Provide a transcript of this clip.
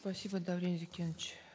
спасибо даурен зекенович